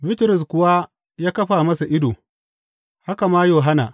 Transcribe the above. Bitrus kuwa ya kafa masa ido, haka ma Yohanna.